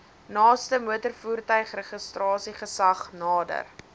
naaste motorvoertuigregistrasiegesag nader